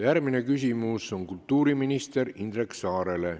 Järgmine küsimus on kultuuriminister Indrek Saarele.